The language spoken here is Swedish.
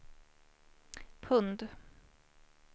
pund